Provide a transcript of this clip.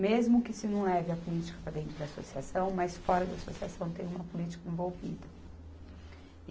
Mesmo que se não leve a política para dentro da associação, mas fora da associação tem uma política envolvida.